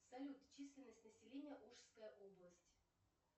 салют численность населения ужская область